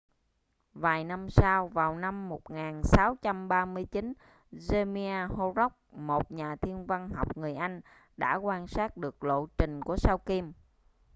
vài năm sau vào năm 1639 jeremiah horrocks một nhà thiên văn học người anh đã quan sát được lộ trình của sao kim